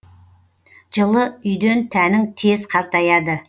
жылы үйден тәнің тез қартаяды